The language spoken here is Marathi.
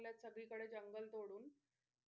सगळीकडे जंगल तोडून.